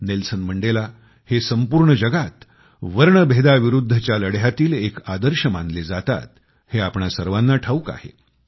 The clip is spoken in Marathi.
नेल्सन मंडेला हे संपूर्ण जगात वर्णभेदाविरुद्धच्या लढ्यातील एक आदर्श मानले जातात हे आपणा सर्वांना ठाऊक आहे